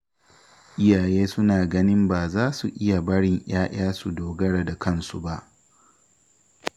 Iyaye suna ganin ba za su iya barin 'ya'ya su dogara da kansu ba